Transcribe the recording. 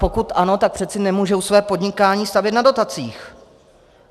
Pokud ano, tak přece nemohou své podnikání stavět na dotacích.